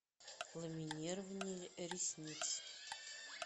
ламинирование ресниц